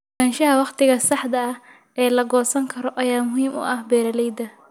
Ogaanshaha waqtiga saxda ah ee la goosan karo ayaa muhiim u ah beeralayda.